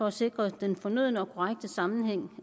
at sikre den fornødne og korrekte sammenhæng